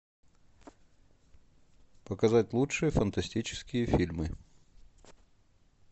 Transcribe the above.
показать лучшие фантастические фильмы